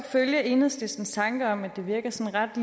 følge enhedslistens tanke om at det virker sådan ret